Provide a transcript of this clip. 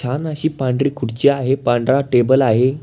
छान अशी पांढरी खुर्ची आहे पांढरा टेबल आहे.